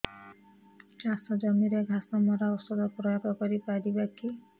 ଚାଷ ଜମିରେ ଘାସ ମରା ଔଷଧ ପ୍ରୟୋଗ କରି ପାରିବା କି